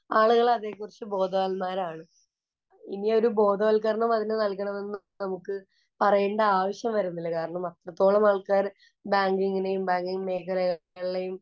ആളുകള്‍ അതേ കുറിച്ച് ബോധവാന്മാരാണ്. ഇനിയൊരു ബോധവല്‍ക്കരണം അതിനു നല്‍കണമെന്ന് നമുക്ക് പറയണ്ട ആവശ്യം വരുന്നില്ല.കാരണം, അത്രത്തോളം ആള്‍ക്കാര് ബാങ്കിങ്ങിനെയും, ബാങ്കിങ്ങ് മേഖലകളെയും